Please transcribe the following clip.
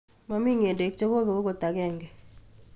Momi nge'dek chekobek okot agenge.